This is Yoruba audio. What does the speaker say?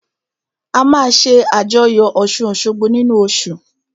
A máa ṣé àjọyọ̀ ọ̀ṣun-òṣogbo nínu oṣù